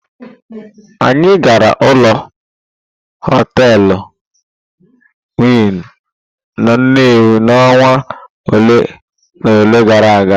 Anyị gara ụlọ hotelụ winụ n'Nnewi n'ọnwa ole na ole gara aga.